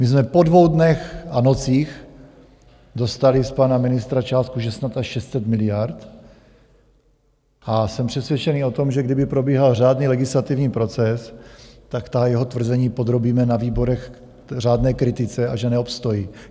My jsme po dvou dnech a nocích dostali z pana ministra částku, že snad až 600 miliard, a jsem přesvědčený o tom, že kdyby probíhal řádný legislativní proces, tak ta jeho tvrzení podrobíme na výborech řádné kritice, a že neobstojí.